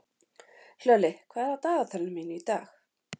Hlölli, hvað er á dagatalinu mínu í dag?